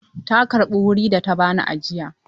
Ta karɓi wuri da ta ba ni ajiya.